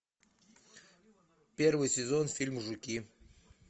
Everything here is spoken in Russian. первый сезон фильма жуки